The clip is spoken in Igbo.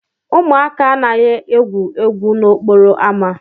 Ụmụaka anaghị egwu egwu n'okporo ámá.